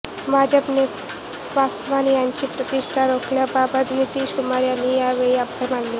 भाजपने पासवान यांची प्रतिष्ठा राखल्याबद्दल नितीश कुमार यांनी यावेळी आभार मानले